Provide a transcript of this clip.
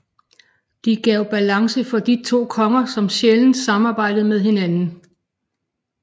De gav balance for de to konger som sjældent samarbejdede med hinanden